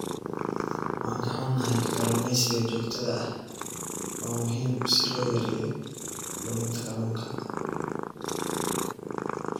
Waan ka xunnahay, kalluumeysiga joogtada ah waa muhiim si loo yareeyo luminta kalluunka.